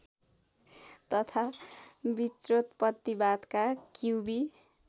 तथा विश्वोत्पत्तिवादका क्युबी